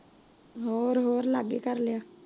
ਹੋਰ ਹੋਰ ਲਗੇ ਏ ਕਰ ਲਿਆ।